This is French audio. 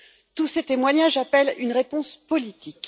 Tous ces témoignages appellent une réponse politique.